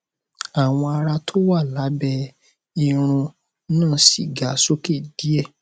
awọ ara tó wà lábẹ irún náà sì ga sókè díè